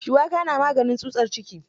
Shuwaka na maganin tsutsar ciki.